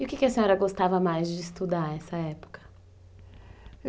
E o que a senhora gostava mais de estudar nessa época?